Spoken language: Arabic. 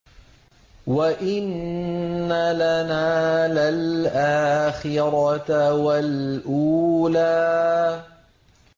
وَإِنَّ لَنَا لَلْآخِرَةَ وَالْأُولَىٰ